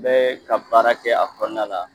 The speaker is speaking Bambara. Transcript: N be ka baara kɛ a kɔnɔna la.